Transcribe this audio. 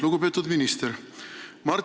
Lugupeetud minister!